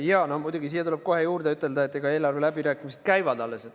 Jaa, no muidugi tuleb siia kohe juurde öelda, et eelarveläbirääkimised alles käivad.